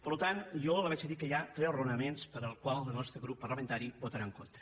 per tant jo li vaig a dir que hi ha tres raonaments pels quals el nostre grup parlamentari hi votarà en contra